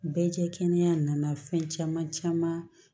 Bɛɛ kɛ kɛnɛya nana fɛn caman caman